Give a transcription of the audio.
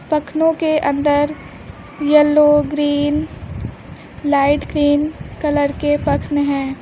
पख्नों के अंदर yellow green light cream colour के पख्न हैं।